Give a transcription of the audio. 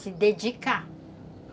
Se dedicar.